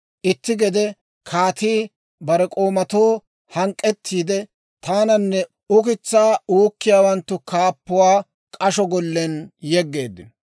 Itti gede kaatii bare k'oomatoo hank'k'ettiide, taananne ukitsaa uukkiyaawanttu kaappuwaa k'asho gollen yeggeedda.